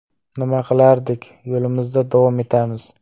Nima qilardik, yo‘limizda davom etamiz.